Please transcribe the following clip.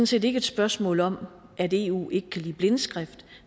set ikke et spørgsmål om at eu ikke kan lide blindskrift